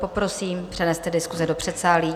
Poprosím, přeneste diskuse do předsálí.